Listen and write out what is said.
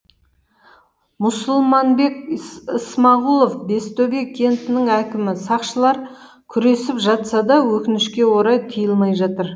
мұсылманбек ысмағұлов бестөбе кентінің әкімі сақшылар күресіп жатса да өкінішке орай келмей жатыр